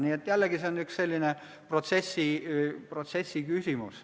See on jällegi üks selline protsessiküsimus.